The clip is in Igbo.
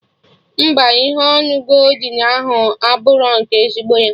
Mba, ihe onu goldin ahụ abụrọ nke ezigbo ya